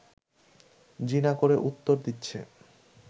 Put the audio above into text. জি না করে উত্তর দিচ্ছে